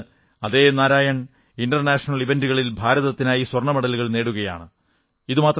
ഇന്ന് അതേ നാരായൺ ഇന്റർനാഷണൽ ഇവന്റുകളിൽ ഭാരതത്തിനായി സ്വർണ്ണമെഡലുകൾ നേടുകയാണ്